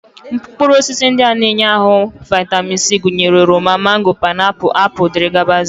Mkpụrụosisi ndị na-enye ahụ vaịtamin C gụnyere oroma, mango, paịnapụl, apụl, dg